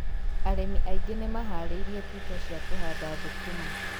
arĩmi aingĩ nĩmaharĩirie tuta cia kũhanda thũkũma